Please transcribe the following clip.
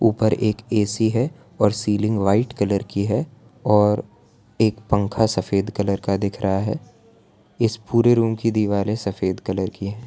ऊपर एक ए_सी है और सीलिंग व्हाइट कलर की है और एक पंखा सफेद कलर का दिख रहा है इस पूरे रूम की दीवारें सफेद कलर की है।